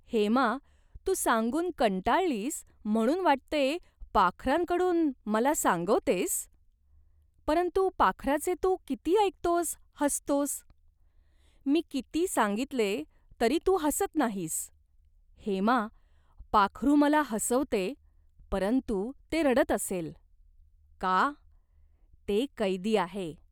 "हेमा, तू सांगून कंटाळलीस म्हणून वाटते पाखराकडून मला सांगवतेस ?" "परंतु पाखराचे तू ऐकतोस, हसतोस. मी किती सांगितले तरी तू हसत नाहीस." "हेमा, पाखरू मला हसवते परंतु ते रडत असेल." "का ?" "ते कैदी आहे.